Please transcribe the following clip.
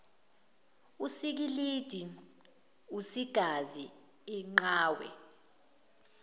usikilidi usigazi inqawe